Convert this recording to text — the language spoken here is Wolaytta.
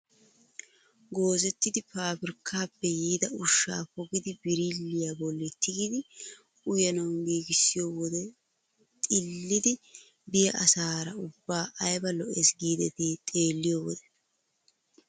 Goozettidi pabirkkaappe yiida ushshaa pogidi birilliyaa bolli tigidi uyanawu giigissiyoo wode xilliidi be'iyaa asara ubbaa ayba lo"ees giidetii xeelliyoo wode!